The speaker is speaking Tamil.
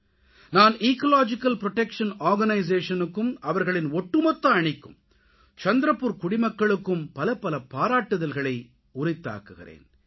நான் எக்காலஜிக்கல் புரொடெக்ஷன் Organisationக்கும் அவர்களின் ஒட்டுமொத்த அணிக்கும் சந்த்ரபுர் குடிமக்களுக்கும் பலப்பல பாராட்டுதல்களை உரித்தாக்குகிறேன்